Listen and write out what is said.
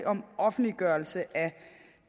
om offentliggørelse af